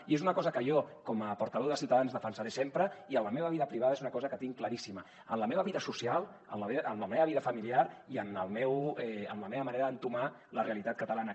i és una cosa que jo com a portaveu de ciutadans defensaré sempre i en la meva vida privada és una cosa que tinc claríssima en la meva vida social en la meva vida familiar i en la meva manera d’entomar la realitat catalana